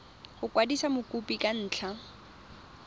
go kwadisa mokopi ka ntlha